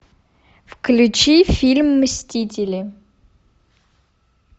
включи фильм мстители